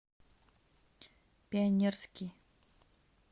пионерский